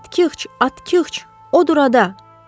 Atqıç, atqıç, o dur orada.